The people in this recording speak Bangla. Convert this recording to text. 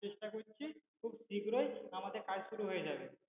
চেষ্টা করছি খুব শীঘ্রই আমাদের কাজ শুরু হয়ে যাবে